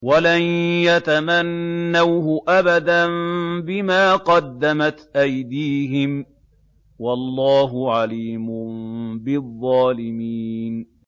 وَلَن يَتَمَنَّوْهُ أَبَدًا بِمَا قَدَّمَتْ أَيْدِيهِمْ ۗ وَاللَّهُ عَلِيمٌ بِالظَّالِمِينَ